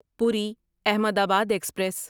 پوری احمدآباد ایکسپریس